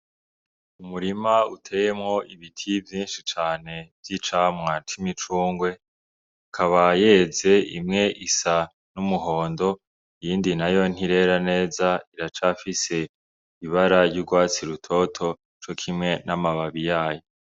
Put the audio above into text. Umurima uteyemwo ibiti vyinshi cane vy'icamwa c'imicungwe, ikaba yeze imwe isa n'umuhondo iyindi nayo ntirera neza iracafise ibara ry'urwatsi rutoto co kimwe n'amababi yayo.